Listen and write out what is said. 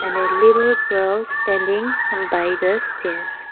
And a little girl standing by the stairs.